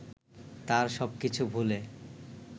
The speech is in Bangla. তার সব কিছু ভুলে